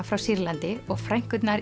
frá Sýrlandi og frænkurnar